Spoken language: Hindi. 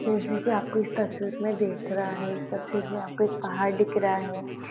जैसा कि आपको इस तस्वीर में दिख रहा है इस तस्वीर में आपको एक पहाड़ दिख रहा है।